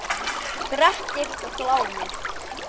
Grettir og Glámur